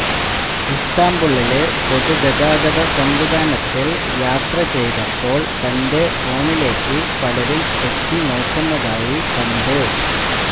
ഇസ്താംബുളിലെ പൊതുഗതാഗതസംവിധാനത്തില് യാത്ര ചെയ്തപ്പോള് തന്റെ ഫോണിലേക്ക് പലരും എത്തിനോക്കുന്നതായി കണ്ടു